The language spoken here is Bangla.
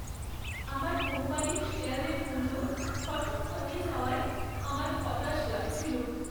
আমার কোম্পানির শেয়ারের মূল্য হঠাৎ পড়ে যাওয়ায় আমার হতাশ লাগছিল।